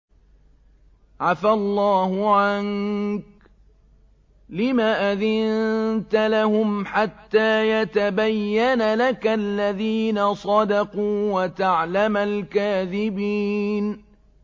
عَفَا اللَّهُ عَنكَ لِمَ أَذِنتَ لَهُمْ حَتَّىٰ يَتَبَيَّنَ لَكَ الَّذِينَ صَدَقُوا وَتَعْلَمَ الْكَاذِبِينَ